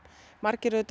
margir